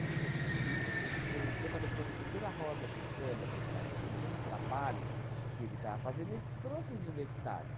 Que o o que eu falei para você, pela roda de samba que ele estava fazendo, pelo trabalho que ele estava fazendo, ele trouxe os universitários.